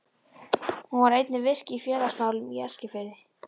Hún var einnig virk í félagsmálum á Eskifirði.